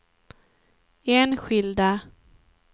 enskilda